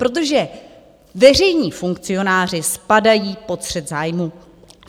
Protože veřejní funkcionáři spadají pod střet zájmů.